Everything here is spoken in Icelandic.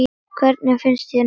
Hvernig finnst þér hún?